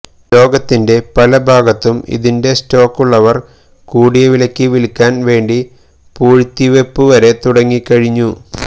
ലോകത്തിന്റെ പലഭാഗത്തും ഇതിന്റെ സ്റ്റോക്കുള്ളവർ കൂടിയ വിലയ്ക്ക് വിൽക്കാൻ വേണ്ടി പൂഴ്ത്തിവെപ്പുവരെ തുടങ്ങിക്കഴിഞ്ഞു